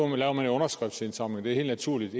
man jo en underskriftindsamling det er helt naturligt